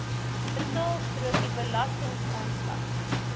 betaalstrokie belastingaanslag